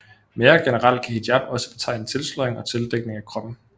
Mere generelt kan hijab også betegne tilsløring og tildækning af kroppen